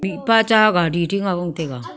mihpa cha gari ding ang gon taiga.